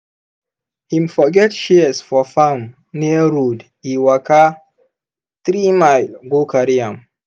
him forget shears for farm near road e waka three mile go carry am.